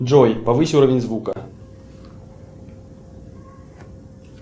джой повысь уровень звука